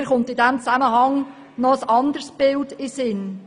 Mir kommt in diesem Zusammenhang noch ein anderes Bild in den Sinn: